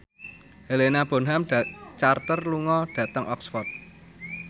Helena Bonham Carter lunga dhateng Oxford